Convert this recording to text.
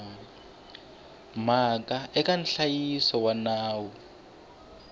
mhaka eka nhlayiso wa nawu